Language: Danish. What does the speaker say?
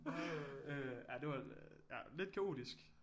Øh ja det var ja lidt kaotisk